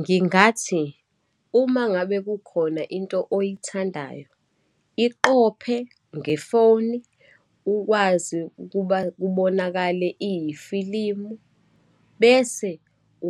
Ngingathi uma ngabe kukhona into oyithandayo, iqophe ngefoni ukwazi ukuba kubonakale iyifilimu, bese